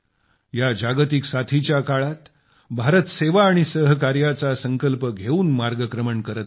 या जागतिक साथीच्या काळात भारत सेवा आणि सहकार्याचा संकल्प घेऊन मार्गक्रमण करत आहे